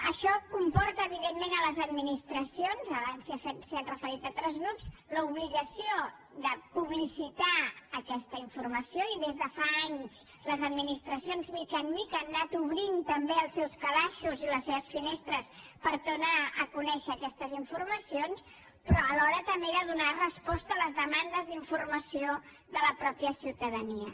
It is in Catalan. això comporta evidentment per a les administracions abans s’hi han referit altres grups l’obligació de publicitar aquesta informació i des de fa anys les administracions de mica en mica han anat obrint també els seus calaixos i les seves finestres per donar a conèixer aquestes informacions però alhora també de donar resposta a les demandes d’informació de la mateixa ciutadania